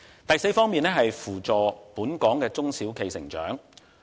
第四方面，就是扶助本港的中小企成長。